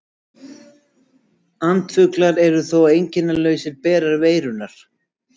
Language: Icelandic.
Andfuglar eru þó einkennalausir berar veirunnar.